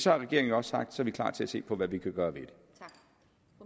har regeringen også sagt at den er klar til at se på hvad vi kan gøre